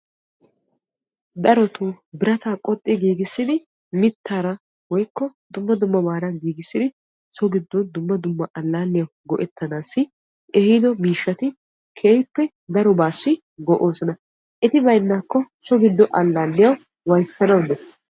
Darotto biratta qoxxi giigissiddi mittara woykko dumma dummabara giigissiddi dumma dumma oosuwa ootanawu keehippe darobba go'osonna etti baynnakko so gido alaalliyawu waayisanawu de'ees.